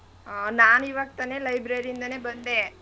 ಹ್ಮ್ ನಾನ್ ಇವಾಗ್ ತಾನೇ library ಯಿಂದನೇ ಬಂದೆ.